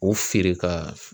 U feere ka